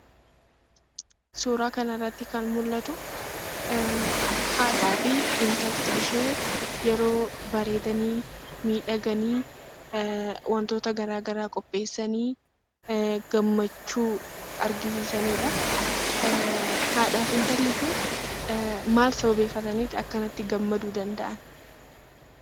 Suuraa kanarratti kan mul'atu haadhaa fi intalli ishee yeroo bareedanii miidhaganii wantoota garaagaraa qopheessanii gammachuu argisiisanidha. Haadhaa fi intalli kun maal sababeeffataniitu akkattiin gammaduu danda'an?